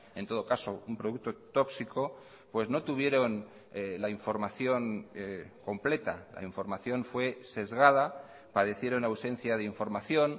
en todo caso un producto tóxico pues no tuvieron la información completa la información fue sesgada padecieron ausencia de información